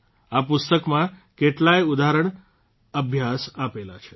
આ પુસ્તકમાં કેટલાયે ઉદાહરણ અભ્યાસ આપેલા છે